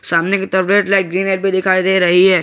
सामने की तरफ रेड लाइट ग्रीन लाइट भी दिखाई दे रही है।